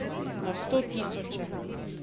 Na sto tisoče.